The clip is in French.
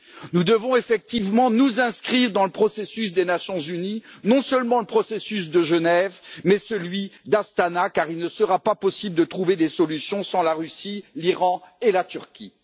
Nous devons effectivement nous inscrire dans le processus des Nations unies, non seulement le processus de Genève, mais celui d'Astana, car il ne sera pas possible de trouver des solutions sans la Russie, l'Iran et la Turquie.